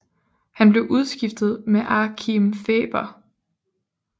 Han blev udskiftet med Achim Färber